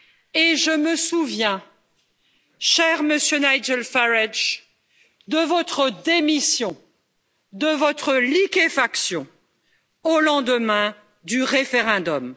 Et je me souviens, cher Monsieur Nigel Farage, de votre démission, de votre liquéfaction au lendemain du référendum.